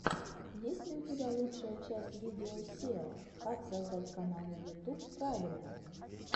есть ли у тебя лучшая часть видео сео как создать канал на ютуб правильно